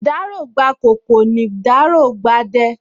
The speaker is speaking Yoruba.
Ìdáró gbà ’kòkò, nì ’dáró gba ’dẹ